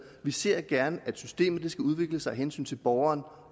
vi ser gerne at systemet skal udvikle sig af hensyn til borgeren